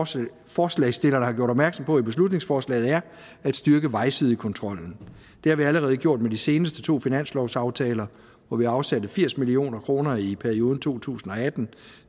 som forslagsstillerne har gjort opmærksom på beslutningsforslaget er at styrke vejsidekontrollen det har vi allerede gjort med de seneste to finanslovsaftaler hvor vi afsatte firs million kroner i perioden to tusind og atten